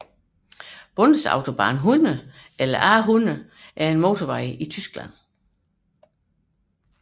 Bundesautobahn 100 eller A 100 er en motorvej i Tyskland